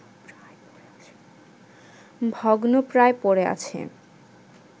ভগ্নপ্রায় পড়ে আছে